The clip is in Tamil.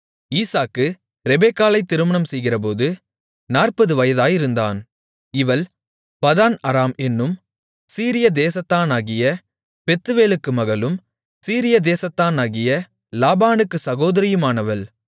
ஈசாக்கு ரெபெக்காளை திருமணம் செய்கிறபோது 40 வயதாயிருந்தான் இவள் பதான் அராம் என்னும் சீரியா தேசத்தானாகிய பெத்துவேலுக்கு மகளும் சீரியா தேசத்தானாகிய லாபானுக்குச் சகோதரியுமானவள்